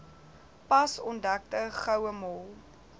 pas ontdekte gouemol